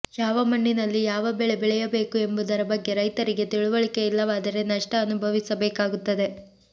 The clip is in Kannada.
ಯಾವ ಮಣ್ಣಿನಲ್ಲಿ ಯಾವ ಬೆಳೆ ಬೆಳೆಯಬೇಕು ಎಂಬುದರ ಬಗ್ಗೆ ರೈತರಿಗೆ ತಿಳುವಳಿಕೆ ಇಲ್ಲವಾದರೆ ನಷ್ಟ ಅನುಭವಿಸಬೇಕಾಗುತ್ತದೆ